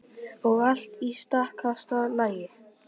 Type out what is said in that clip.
Og allt í stakasta lagi.